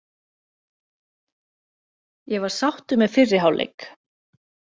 Ég var sáttur með fyrri hálfleik.